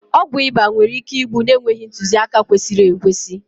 ọgwụ ịba nwere ike ịgbụ na-enweghị ntuziaka kwesịrị ekwesị